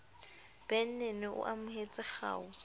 ben nene o amohetse kgau